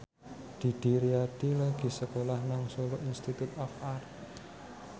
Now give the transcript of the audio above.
Didi Riyadi lagi sekolah nang Solo Institute of Art